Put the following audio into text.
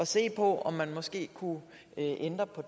se på om man måske kunne ændre på